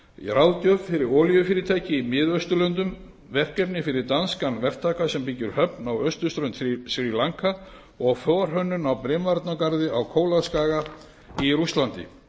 ráðgjöf fyrir olíufyrirtæki í mið austurlöndum verkefni fyrir danskan verktaka sem byggir höfn á austurströnd sri lanka og forhönnun á brimvarnargarði á kólaskaga í rússlandi